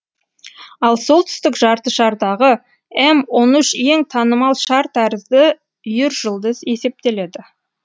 ал солтүстік жартышардағы м он үш ең танымал шар тәрізді үйіржұлдыз есептеледі